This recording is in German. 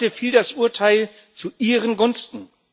Heute fiel das Urteil zu ihren Gunsten.